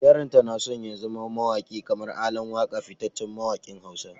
Yaranta na son ya zama mawaki kamar ALAN WAKA fitaccen mawakin Hausa.